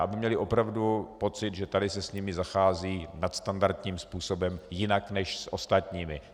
Aby měli opravdu pocit, že tady se s nimi zachází nadstandardním způsobem, jinak než s ostatními.